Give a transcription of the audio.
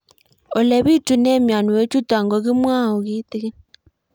Ole pitune mionwek chutok ko kimwau kitig'ín